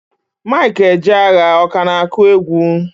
Mike Ejeagha, ọ ka na-akụ egwu?